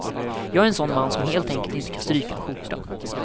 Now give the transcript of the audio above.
Jag är en sådan man som helt enkelt inte kan stryka en skjorta.